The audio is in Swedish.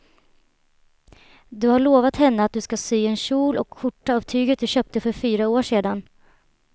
Du har lovat henne att du ska sy en kjol och skjorta av tyget du köpte för fyra år sedan.